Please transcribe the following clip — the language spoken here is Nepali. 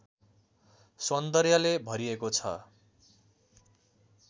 सौन्दर्यले भरिएको छ